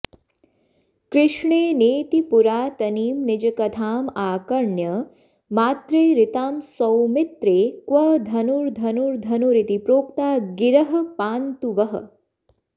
कृष्णेनेति पुरातनीं निजकथामाकर्ण्य मात्रेरितां सौमित्रे क्व धनुर्धनुर्धनुरिति प्रोक्ता गिरः पान्तु वः